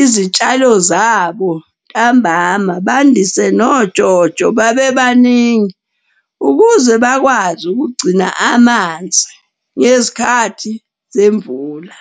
izitshalo zabo ntambama, bandise nojojo babe baningi. Ukuze bakwazi ukugcina amanzi ngezikhathi zemvula.